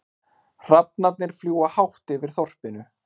Hrafnarnir fljúga hátt yfir þorpinu.